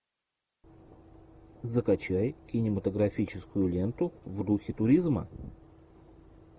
закачай кинематографическую ленту в духе туризма